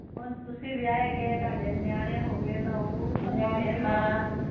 ਹੁਣ ਤੁਸੀਂ ਵਿਆਹੇ ਗਏ ਤੁਹਾਡੇ ਨਿਆਣੇ ਹੋਗੇ ਤਾ ਉਹ